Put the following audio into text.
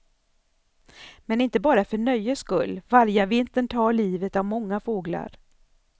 Men inte bara för nöjes skull, vargavintern tar livet av många fåglar.